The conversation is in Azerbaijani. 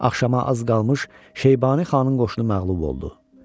Axşama az qalmış Şeybani Xanın qoşunu məğlub oldu.